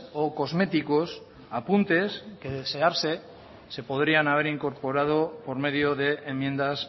o cosméticos apuntes que de desearse se podrían haber incorporado por medio de enmiendas